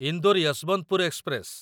Indore Yesvantpur express